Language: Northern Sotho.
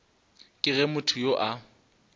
ke ge motho yo a